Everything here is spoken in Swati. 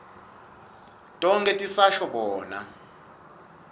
tonkhe tisasho bona